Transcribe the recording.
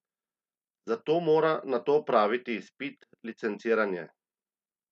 Za to mora nato opraviti izpit, licenciranje.